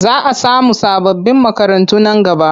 Za a samu sababbin makarantu nan gaba.